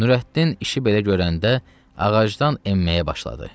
Nurəddin işi belə görəndə ağacdan enməyə başladı.